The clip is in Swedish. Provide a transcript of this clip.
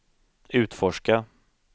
utforska